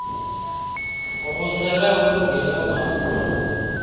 ubusele ulungile ungazibona